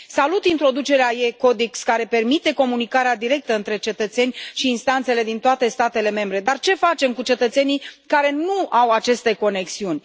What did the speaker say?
Salut introducerea e Codex care permite comunicarea directă între cetățeni și instanțele din toate statele membre, dar ce facem cu cetățenii care nu au aceste conexiuni?